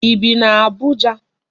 I bi n'Abuja?